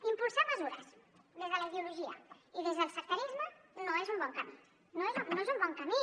impulsar mesures des de la ideologia i des del sectarisme no és un bon camí no és un bon camí